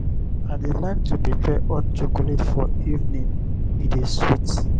i dey like to prepare hot chocolate for evening; e dey sweet.